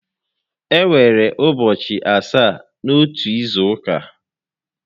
E nwere ụbọchị asaá n'otu izu ụka